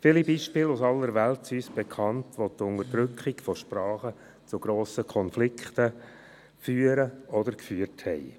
Viele Beispiele aus aller Welt sind uns bekannt, wo die Unterdrückung von Sprachen oder Sprachregionen zu grossen Konflikten führen oder geführt haben.